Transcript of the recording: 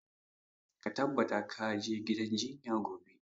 Ka tabbata ka je gidan jinya gobe!